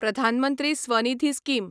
प्रधान मंत्री स्वनिधी स्कीम